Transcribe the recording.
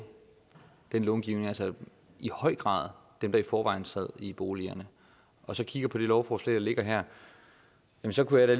den långivning altså i høj grad dem der i forvejen sad i boligerne og så kigger på det lovforslag der ligger her så kunne jeg